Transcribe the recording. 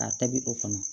A tabi o kɔnɔ